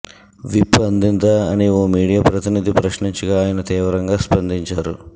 whip అందిందా అని ఓ మీడియా ప్రతినిధి ప్రశ్నించగా ఆయన తీవ్రంగా స్పందించారు